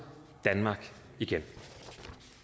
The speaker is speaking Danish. danmark igen